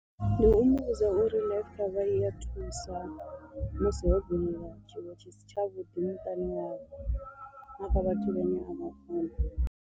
Ndi u muvhudza uri life cover i ya thusa musi ho bvelela tshiwo tshi si tshavhuḓi miṱani yavho na kha vhathu vhane a vha funa.